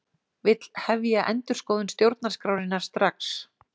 Vill hefja endurskoðun stjórnarskrárinnar strax